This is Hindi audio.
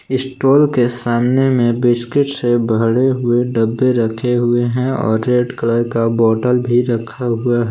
स्टॉल के सामने में बिस्कुट से भरे हुए डब्बे रखे हुए हैं और रेड कलर का बॉटल भी रखा हुआ--